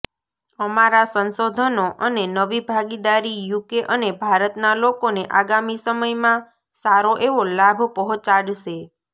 અમારા સંશોધનો અને નવી ભાગીદારી યુકે અને ભારતના લોકોને આગામી સમયમાં સારોએવો લાભ પહોંચાડશે